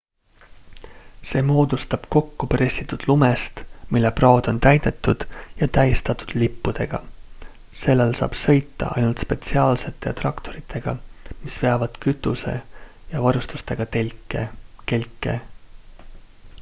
see moodustub kokkupressitud lumest mille praod on täidetud ja on tähistatud lippudega sellel saab sõita ainult spetsiaalsete traktoritega mis veavad kütuse ja varustusega kelke